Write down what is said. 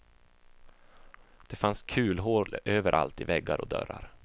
Det fanns kulhål överallt i väggar och dörrar.